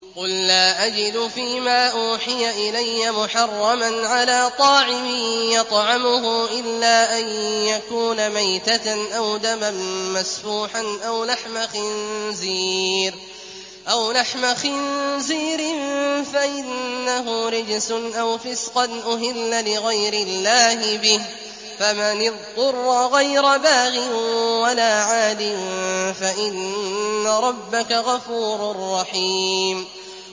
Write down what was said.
قُل لَّا أَجِدُ فِي مَا أُوحِيَ إِلَيَّ مُحَرَّمًا عَلَىٰ طَاعِمٍ يَطْعَمُهُ إِلَّا أَن يَكُونَ مَيْتَةً أَوْ دَمًا مَّسْفُوحًا أَوْ لَحْمَ خِنزِيرٍ فَإِنَّهُ رِجْسٌ أَوْ فِسْقًا أُهِلَّ لِغَيْرِ اللَّهِ بِهِ ۚ فَمَنِ اضْطُرَّ غَيْرَ بَاغٍ وَلَا عَادٍ فَإِنَّ رَبَّكَ غَفُورٌ رَّحِيمٌ